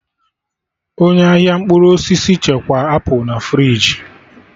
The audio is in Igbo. Onye ahịa mkpụrụ osisi chekwaa apụl na friji